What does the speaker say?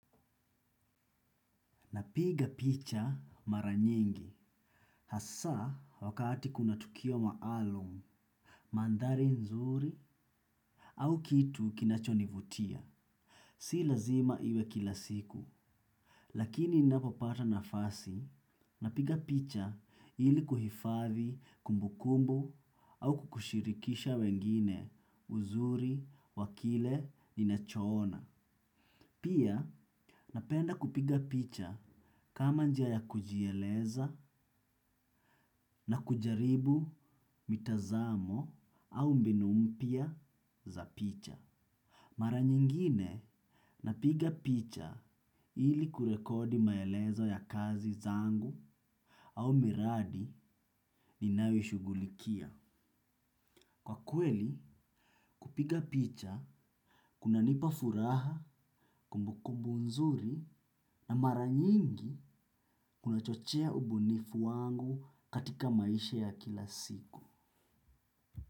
Napiga picha mara nyingi, hasa wakati kuna tukio maalum, mandhari nzuri au kitu kinachonivutia. Si lazima iwe kila siku, lakini ninapopata nafasi, napiga picha ili kuhifadhi kumbukumbu au kushirikisha wengine uzuri wa kile ninacho ona. Pia napenda kupiga picha kama njia ya kujieleza na kujaribu mitazamo au mbinu mpya za picha. Mara nyingine napiga picha ili kurekodi maelezo ya kazi zangu au miradi ninayo shugulikia. Kwa kweli kupiga picha, kuna nipa furaha, kumbu kumbu nzuri na mara nyingi kunachochea ubunifu wangu katika maisha ya kila siku.